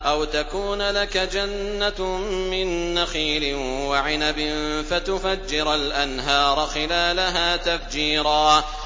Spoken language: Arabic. أَوْ تَكُونَ لَكَ جَنَّةٌ مِّن نَّخِيلٍ وَعِنَبٍ فَتُفَجِّرَ الْأَنْهَارَ خِلَالَهَا تَفْجِيرًا